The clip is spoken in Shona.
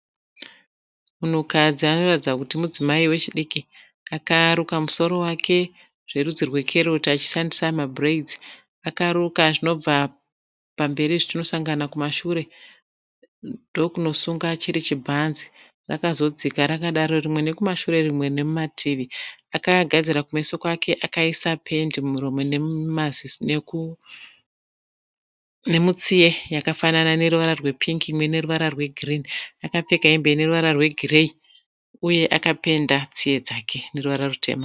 Munhukadzi anoratidza kuti mudzimai wechidki. Akaruka musoro wake zverudzi rwekeroti achishandisa mabhuredzi. Akaruka zvinobva pamberi zvichinosanganana kumashure ndokunosunga chiri chbhanzi. Akagadzira kumeso kwake zvakanaka. Akapfeka hembe ineruvara rwegireyi uye akapenda tsiye dzake neruvara rutema.